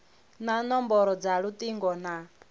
na nomboro dza lutingo na